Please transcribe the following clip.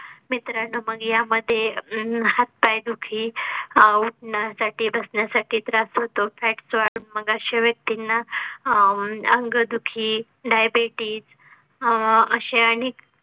मित्रांनो मग यामध्ये अं हात पाय दुखी हा उठवण्या साठी बसण्या साठी त्रास होतो. fats वाढून मग अशा व्यक्तींना अं अंगदुखी, diabetes अह अशे अनेक